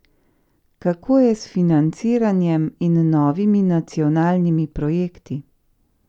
Kako je s financiranjem in novimi nacionalnimi projekti?